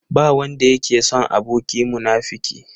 Ba wanda yake son aboki munafuki.